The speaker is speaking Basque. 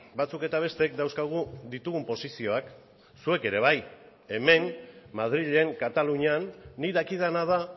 batzuk eta besteek dauzkagu ditugun posizioak zuek ere bai hemen madrilen katalunian nik dakidana da